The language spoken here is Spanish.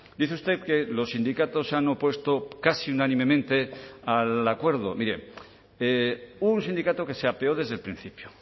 dice usted que los sindicatos se han opuesto casi unánimemente al acuerdo mire un sindicato que se apeó desde el principio